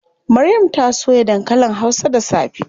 Maryam ta soya dankalin hausa da safe.